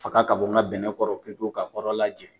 Faga ka bɔ n ka bɛnɛ kɔrɔ pewu pewu ka kɔrɔla jɛ